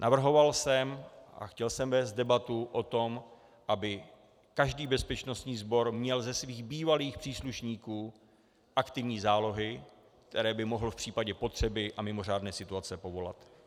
Navrhoval jsem a chtěl jsem vést debatu o tom, aby každý bezpečnostní sbor měl ze svých bývalých příslušníků aktivní zálohy, které by mohl v případě potřeby a mimořádné situace povolat.